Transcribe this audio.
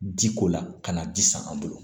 Ji ko la ka na ji san an bolo